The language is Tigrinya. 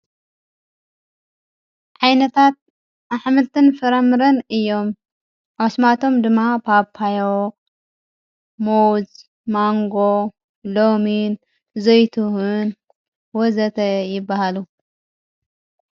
ዓይነታት ኣኅምልትን ፍረምርን እዮም ዓስማቶም ድማ ጳጳዮ ሞዉዝ ማንጎ ሎሚን ዘይትሑን ወዘተ ይበሃሉ።